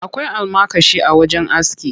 Akwai almakashi a wajen aski.